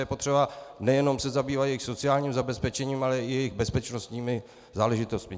Je potřeba se nejenom zabývat jejich sociálním zabezpečením, ale i jejich bezpečnostními záležitostmi.